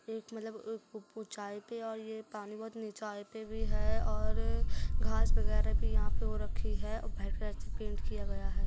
एक मतलब चाय पे और ये पानी भी चाय पे भी है और घास वगैरा भी यहाँ पे वो रखी है व्हाइट कलर से पेंट किया गया है।